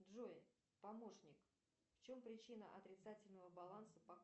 джой помощник в чем причина отрицательного баланса по